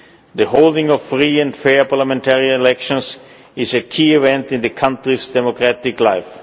The holding of free and fair parliamentary elections is a key event in the country's democratic life.